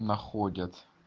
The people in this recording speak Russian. находят